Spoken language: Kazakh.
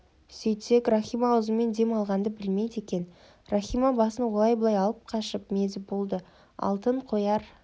сөйтсек рахима аузымен дем алғанды білмейді екен рахима басын олай-бұлай алып қашып мезі болды алтын қояр